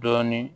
Dɔɔni